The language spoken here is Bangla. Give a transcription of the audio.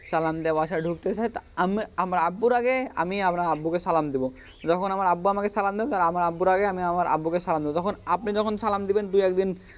সালাম দেওয়াই বাসাই ঢুকতেসেন তা আমি আমার আব্বুর আগে আমি আপনার আব্বুকে সালাম দিব তখন আমার আব্বু আমাকে সালাম দেবে তখন আব্বুর আগেই আমি আব্বুকে সালাম দিব তখন আপনি যখন সালাম দিবেন দুই একদিন,